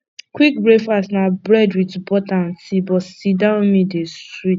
quick breakfast na bread with butter and tea but sit down meal dey sweet